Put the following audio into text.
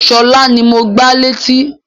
Sọlá ni mo gbá létí